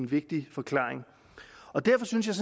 vigtig forklaring derfor synes jeg